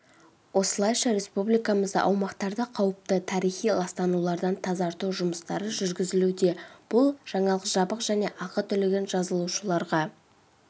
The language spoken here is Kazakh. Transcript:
осылайша республикамызда аумақтарды қауіпті тарихи ластанулардан тазарту жұмыстары жүргізілуде бұл жаңалық жабық және ақы төлеген жазылушыларға